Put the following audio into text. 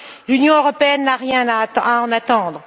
L'Union européenne n'a rien à en attendre.